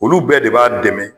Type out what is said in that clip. Olu bɛɛ de b'a dɛmɛ